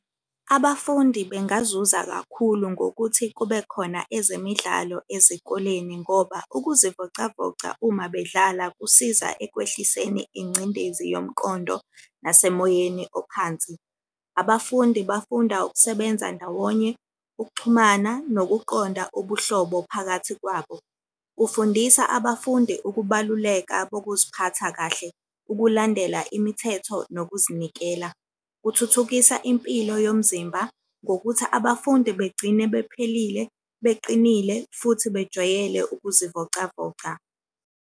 Abafundi bengazuza kakhulu ngokuthi kube khona ezemidlalo ezikoleni ngoba ukuzivocavoca uma bedlala kusiza ekwehliseni ingcindezi yomqondo nasemoyeni ophansi. Abafundi bafunda ukusebenza ndawonye, ukuxhumana, nokuqonda ubuhlobo phakathi kwabo. Kufundisa abafundi ukubaluleka bokuziphatha kahle, ukulandela imithetho nokuzinikela, kuthuthukisa impilo yomzimba ngokuthi abafundi begcine bephelile, beqinile, futhi bejwayele ukuzivocavoca.